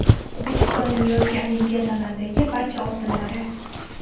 O‘zbekistonning yozgi Olimpiadalardagi barcha oltinlari.